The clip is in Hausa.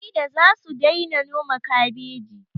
Maida zasu daina noma kabeji